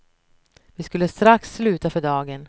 Vi skulle strax sluta för dagen.